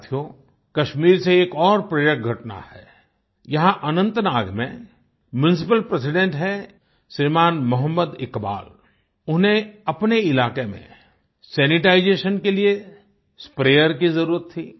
साथियो कश्मीर से एक और प्रेरक घटना है यहाँ अनंतनाग में म्यूनिसिपल प्रेसिडेंट हैं श्रीमान मोहम्मद इकबाल उन्हें अपने इलाके में सैनिटाइजेशन के लिए स्प्रेयर की जरूरत थी